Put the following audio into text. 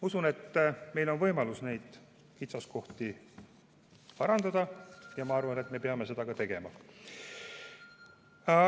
Usun, et meil on võimalus neid kitsaskohti parandada, ja ma arvan, et me peame seda ka tegema.